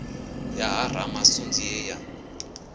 ya ha ramasunzi ye ya